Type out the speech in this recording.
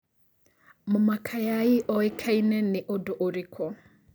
mama kayai o ĩkaĩne nĩ ũndũ ũrĩkũ